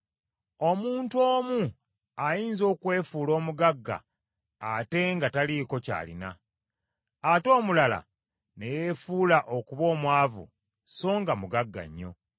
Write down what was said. Omuntu omu ayinza okwefuula omugagga ate nga taliiko ky’alina, ate omulala ne yeefuula okuba omwavu so nga mugagga nnyo.